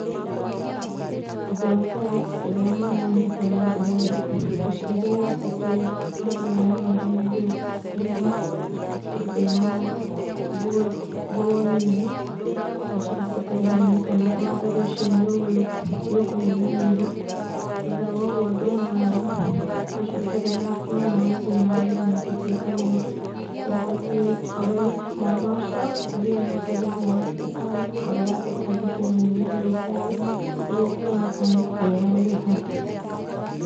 Ũndũ wambere rĩrĩa mwana anyitwo nĩ ũrugarĩ, mũciari nĩ abatiĩ ambe amwaũre nguo imwe, atigwo ena nguo nguo nini, mũciari eterere one kana ũrugarĩ ũcio nĩ ũkũnyihanyiha, thutha wa ũguo angĩona macũngĩrĩra no marathiĩ nambere na gũtuĩka moru, nĩ abatie oe mwana ũcio athiĩ nake thĩinĩ wa thibitarĩ, kũrĩa agũtangĩkĩrwo nĩ mandagĩtarĩ, nĩguo kuoneka nĩ thĩna ũrĩ ha.